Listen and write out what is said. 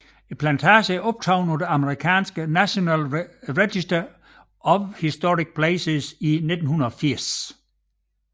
Plantagen er optaget på det amerikanske National Register of Historic Places i 1980